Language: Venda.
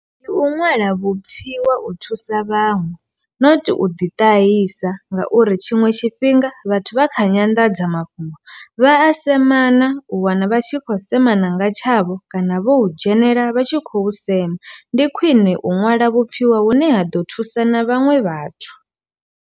Ndi u ṅwala vhupfhiwa u thusa vhaṅwe not u ḓi ṱahisa ngauri tshiṅwe tshifhinga vhathu vha kha nyandadzamafhungo vha a semana u wana vha tshi khou semana nga tshavho kana vho u dzhenelela vha tshi khou sema, ndi khwine u ṅwala vhupfhiwa hune ha ḓo thusa na vhaṅwe vhathu.